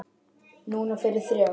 Núna fyrir þrjá.